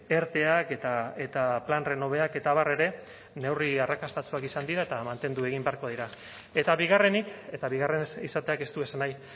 erteak eta plan renoveak eta abar ere neurri arrakastatsuak izan dira eta mantendu egin beharko dira eta bigarrenik eta bigarren izateak ez du esan nahi